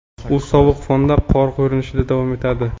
u sovuq fonda qor ko‘rinishida davom etadi.